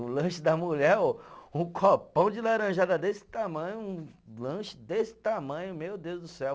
O lanche da mulher ô, um copão de laranjada desse tamanho, um lanche desse tamanho, meu Deus do céu.